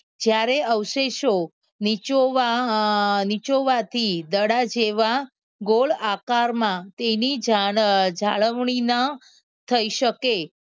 જ્યારે અવશેષો નીચોવવા નીચોવવાથી દડા જેવા ગોળ આકારમાં તેની જાળવ જાળવણીના થઈ શકે